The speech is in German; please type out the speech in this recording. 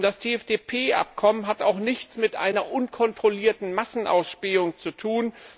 Das TFTP Abkommen hat nichts mit einer unkontrollierten Massenausspähung zu tun.